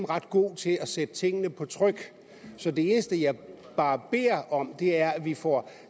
ret god til at sætte tingene på tryk så det eneste jeg bare beder om er at vi får